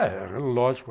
É, lógico.